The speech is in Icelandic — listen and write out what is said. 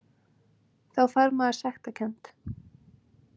Þá fær maður sektarkennd.